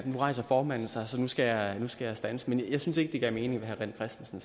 nu rejser formanden sig så nu skal jeg standse men jeg synes ikke det gav mening hvad herre rené christensen